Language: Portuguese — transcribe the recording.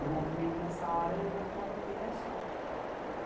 O movimento, nessa hora, levanta uma bandeira só.